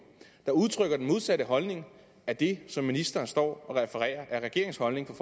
der udtrykker den modsatte holdning af det som ministeren står og refererer er regeringens holdning